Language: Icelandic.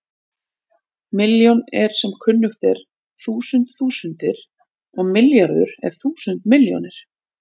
Milljón er sem kunnugt er þúsund þúsundir og milljarður er þúsund milljónir.